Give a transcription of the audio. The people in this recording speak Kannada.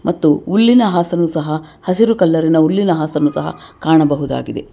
ಮತ್ತು ಹುಲ್ಲಿನ ಆಸನು ಸಹ ಹಸಿರು ಕಲರ್ ಇನ ಹುಲ್ಲಿನ ಆಸನು ಸಹ ಕಾಣಬಹುದಾಗಿದೆ.